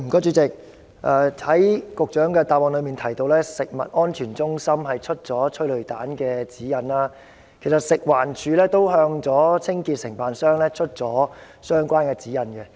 主席，局長的主體答覆提到，食物安全中心發出了有關催淚煙的指引，其實，食環署亦有向清潔承辦商發出相關指引。